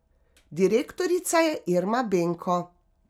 Direktorica je Irma Benko.